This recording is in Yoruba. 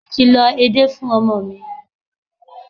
Mo ti lọ edé fún ọmọ mi.